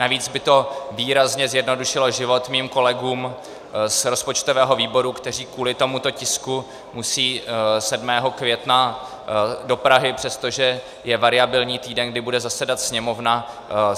Navíc by to výrazně zjednodušilo život mým kolegům z rozpočtového výboru, kteří kvůli tomuto tisku musí 7. května do Prahy, přestože je variabilní týden, kdy bude zasedat Sněmovna.